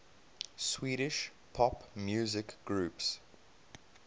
swedish pop music groups